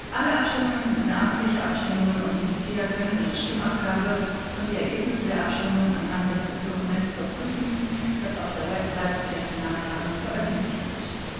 Alle Abstimmungen sind namentliche Abstimmungen, und die Mitglieder können ihre Stimmabgabe und die Ergebnisse der Abstimmungen anhand des Dokuments überprüfen, das auf der Webseite der Plenartagung veröffentlicht wird.